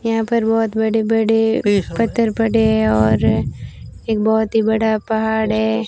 यहां पर बहोत बड़े बड़े पत्थर पड़े हैं और एक बहोत ही बड़ा पहाड़ है।